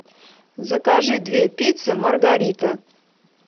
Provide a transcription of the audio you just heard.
закажи две пиццы маргарита